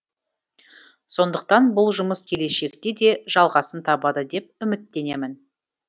сондықтан бұл жұмыс келешекте де жалғасын табады деп үміттенемін